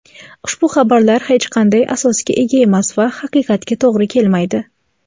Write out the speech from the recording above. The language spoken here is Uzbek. ushbu xabarlar hech qanday asosga ega emas va haqiqatga to‘g‘ri kelmaydi.